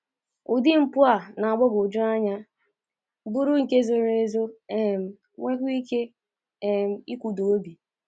Ụdị mpụ a na-agbagwoju anya, bụrụ nke zoro ezo, um nweekwa ike um ịkụda obi.